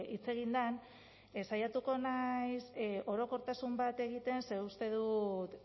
hitz egin den saiatuko naiz orokortasun bat egiten ze uste dut